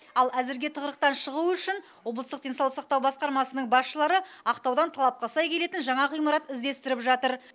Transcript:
ал әзірге тығырықтан шығу үшін облыстық денсаулық сақтау басқармасының басшылары ақтаудан талапқа сай келетін жаңа ғимарат іздестіріп жатыр